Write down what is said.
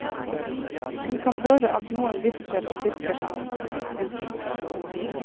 Hun kan høre at noen hvisker og tisker sammen. punktum